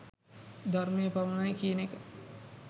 ධර්මය පමණයි කියන එක